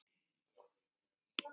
Friður og ró.